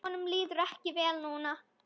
Honum líður ekki vel núna.